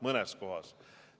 Mõnes kohas!